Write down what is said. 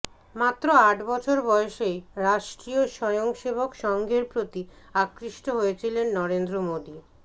মাত্র আট বছর বয়সেই রাষ্ট্রীয় স্বয়ংসেবক সংঘের প্রতি আকৃষ্ট হয়েছিলেন নরেন্দ্র মোদী